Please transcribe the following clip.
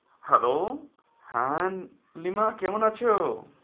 Hello হ্যাঁ লিমা কেমন আছো?